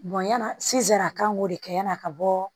yani sisan a kan k'o de kɛ yani a ka bɔ